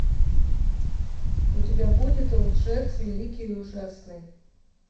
у тебя будет лжец великий и ужасный